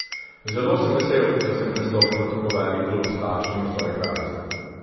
Zelo sem vesel, da sem prestopil v tako velik klub s takšnimi soigralci.